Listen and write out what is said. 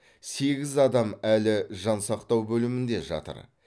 сегіз адам әлі жансақтау бөлімінде жатыр